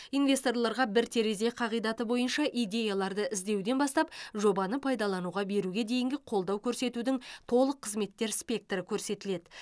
инвесторларға бір терезе қағидаты бойынша идеяларды іздеуден бастап жобаны пайдалануға беруге дейінгі қолдау көрсетудің толық қызметтер спектрі көрсетіледі